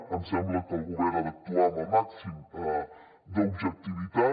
em sembla que el govern ha d’actuar amb el màxim d’objectivitat